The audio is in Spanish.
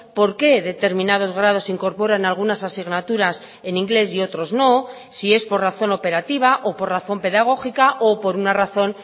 por qué determinados grados incorporan algunas asignaturas en inglés y otros no si es por razón operativa o por razón pedagógica o por una razón